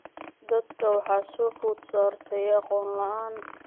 Dadka waxaa soo food saartay aqoon la�aan.